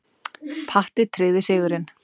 Patti tryggði sigurinn.